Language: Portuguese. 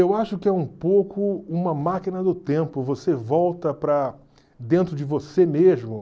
Eu acho que é um pouco uma máquina do tempo, você volta para dentro de você mesmo.